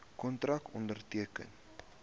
kontrakte onderteken